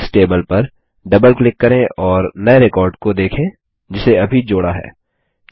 books table पर double click करें और नये रिकॉर्ड को देखें जिसे अभी जोड़ा है